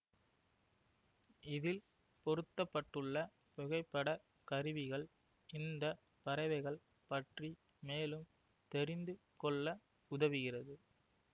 இதில் பொருத்த பட்டுள்ள புகைப்பட கருவிகள் இந்த பறவைகள் பற்றி மேலும் தெரிந்து கொள்ள உதவுகிறது